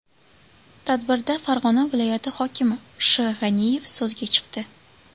Tadbirda Farg‘ona viloyati hokimi Sh.G‘aniyev so‘zga chiqdi.